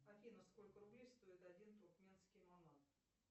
афина сколько рублей стоит один туркменский манат